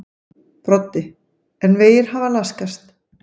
Broddi: En vegir hafa laskast?